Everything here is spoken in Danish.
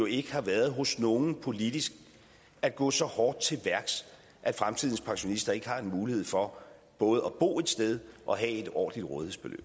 ikke har været hos nogen politisk at gå så hårdt til værks at fremtidens pensionister ikke har en mulighed for både at bo et sted og have et ordentligt